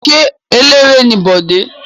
Ṣé eléré ni Bọ̀dé?